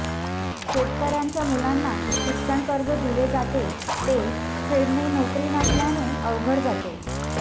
शेतकऱ्यांच्या मुलांना शिक्षण कर्ज दिले जाते ते फेडणे नोकरी नसल्याने अवघड जाते